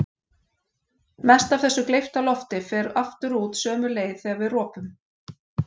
Mest af þessu gleypta lofti fer aftur út sömu leið þegar við ropum.